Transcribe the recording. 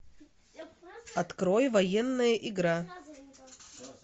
открой военная игра